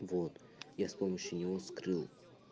вот я с помощью него скрыл